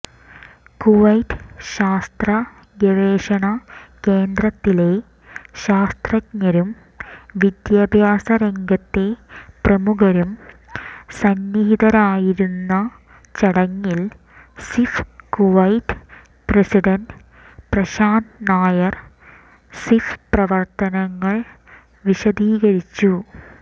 Kuwait ശാസ്രതഗവേഷണ കേന്ദ്രത്തിലെ ശാസ്രതജ്ഞരും വിദ്യാഭ്യാസ രംഗത്തെ പ്രമുഖരുംസന്നിഹിതരായിരുന്ന ചടങ്ങിൽ SIF Kuwait president Prashant Nair SIF പ്രവർത്തനങ്ങൾവിശദീകരിച്ചു